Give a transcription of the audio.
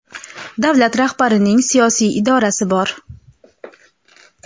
davlat rahbarining siyosiy irodasi bor.